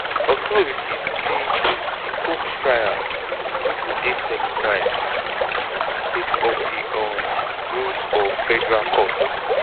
authorities say di combs trial no go dey televised sake of di um rules of federal court.